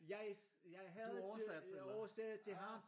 Jeg havde til jeg oversatte til ham